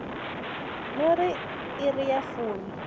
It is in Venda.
no ri iri ya fumi